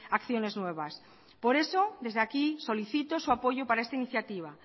acciones nuevas por eso desde aquí solicito su apoyo para esta iniciativa